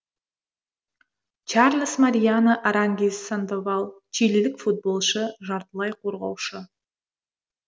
чарлес мариано арангис сандоваль чилилік футболшы жартылай қорғаушы